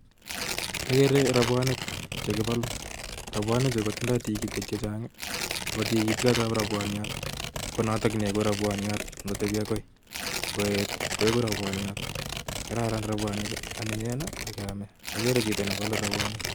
Ageere robwonik chekiboluu, robwonik Chu kotindo tigitik chechang, ako tigitiot ab robwoniot it konotok neibu robwoniot, ngoet koigu robwoniot. Koraran robwonikak anyinyen